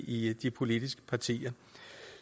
i de politiske partier